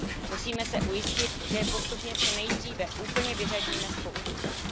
Musíme se ujistit, že je postupně co nejdříve úplně vyřadíme z používání.